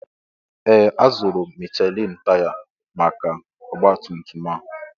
Ee! Azụrụ m Michelin taya maka ọgbatumtum a.